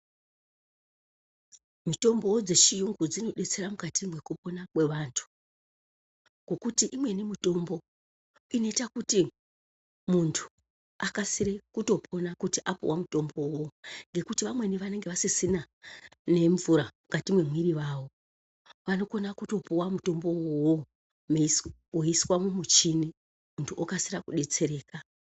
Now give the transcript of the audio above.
Mitombo dzechiyungu dzinodetsera mukati mekupona kwevantu ngekuti imweni mitombo inoita kuti muntu akasire kutopona kuti apuwa mutombo uwowo ngekuti vamweni vanenge vasisina nemvura mukati memwiri yavo vanokona kutopuwa mutombo uwowo woiswa mumuchini kuti okasira kudetsereka.